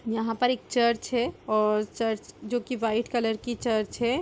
यहां पर एक चर्च है और चर्च जो की व्हाइट कलर की चर्च है।